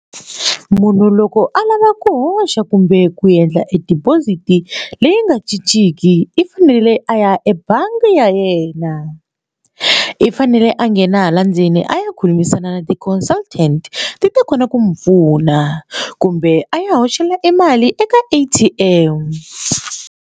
Munhu loko a lava ku hoxa kumbe ku endla e deposit leyi nga cinciki i fanele a ya ebangi ya yena i fanele a nghena hala ndzeni a ya khulumisana na ti-consultant ti ta kota ku n'wi pfuna kumbe a ya hoxela emali eka A_T_M.